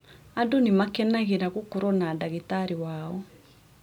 Andũ nĩ maakenagĩra gũkorũo na ndagĩtarĩ wao.